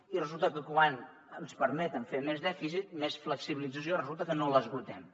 i resulta que quan ens permeten fer més dèficit més flexibilització resulta que no l’esgotem